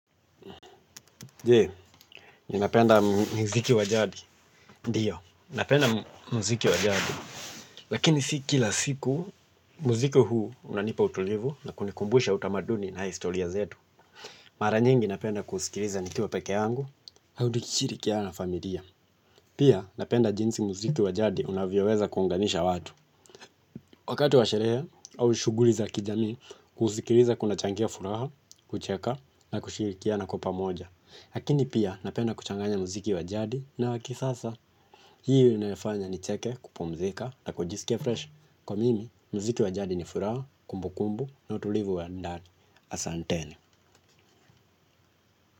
Je, ninapenda muziki wa jadi, ndiyo, napenda muziki wa jadi, lakini si kila siku muziki huu unanipa utulivu na kunikumbusha utamaduni na historia zetu. Mara nyingi napenda kuusikiliza nikiwa peke yangu, au tukishirikiana na familia. Pia napenda jinsi muziki wa jadi unavyoweza kuunganisha watu. Wakati wa sherehe au shughuli za kijamii, kusikiliza kunachangia furaha, kucheka na kushirikiana kwa pamoja. Hakini pia napenda kuchanganya muziki wa jadi na wa kisasa. Hii inanifanya nicheke, kupumzika na kujisikia freshi kwa mimi, muziki wa jadi ni furaha, kumbu kumbu na utulivu wa ndani asanteni.